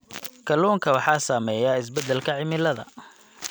Kalluunka waxaa saameeya isbeddelka cimilada.